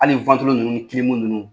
Hali ninnu ninnu.